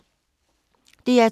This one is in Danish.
DR2